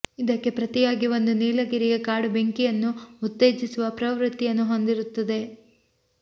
ಇದಕ್ಕೆ ಪ್ರತಿಯಾಗಿ ಒಂದು ನೀಲಗಿರಿಯ ಕಾಡು ಬೆಂಕಿಯನ್ನು ಉತ್ತೇಜಿಸುವ ಪ್ರವೃತ್ತಿಯನ್ನು ಹೊಂದಿರುತ್ತದೆ